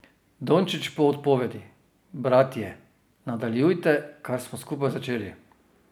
Dončić po odpovedi: "Bratje", nadaljujte, kar smo skupaj začeli.